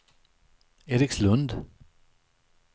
Erikslund